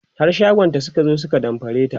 har shagonta Suka zo su ka damfare ta